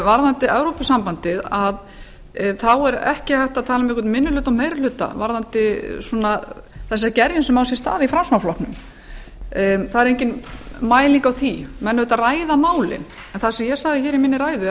varðandi evrópusambandið þá er ekki hægt að tala um einhvern minni hluta og meiri hluta varðandi þessa gerjun sem á sér stað í framsóknarflokknum það er engin mæling á því menn ræða auðvitað málin það sem ég sagði hér í minni ræðu